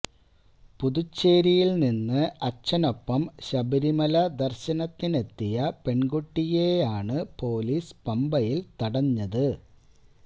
പുതുച്ചേരിയില് നിന്ന് അച്ഛനൊപ്പം ശബരിമല ദര്ശനത്തിനെത്തിയ പെണ്കുട്ടിയെയാണ് പൊലീസ് പമ്പയില് തടഞ്ഞത്